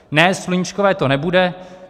Ne, sluníčkové to nebude.